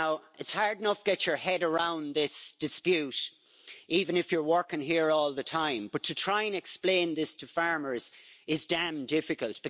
It's hard enough to get your head around this dispute even if you're working here all the time, but to try and explain this to farmers is damned difficult.